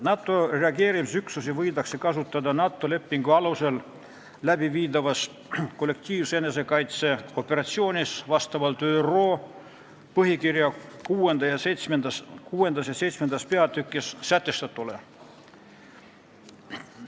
NATO reageerimisüksusi võidakse kasutada NATO lepingu alusel läbiviidavas kollektiivse enesekaitse operatsioonis vastavalt ÜRO põhikirja VI ja VII peatükis sätestatule.